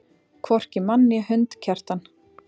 Hvorki mann né hund, Kjartan.